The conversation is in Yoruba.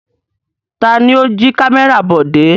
Ta ni ó jí kámẹ́rà Bọ̀dé?